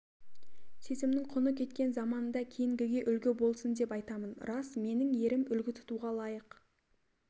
сезімнің құны кеткен заманда кейінгіге үлгі болсын деп айтамын рас менің ерім үлгі тұтуға лайық